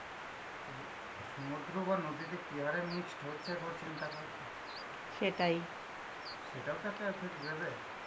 সমুদ্র বা নদীতে কি হারে mixed হচ্ছে একবার চিন্তা কর. সেটাও তো একটা effect দেবে?